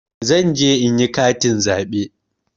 Zanje inyi katin zaɓe